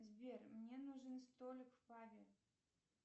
сбер мне нужен столик в пабе